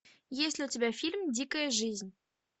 есть ли у тебя фильм дикая жизнь